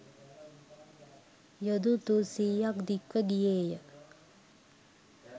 යොදුන් තුන්සීයක් දික්ව ගියේ ය.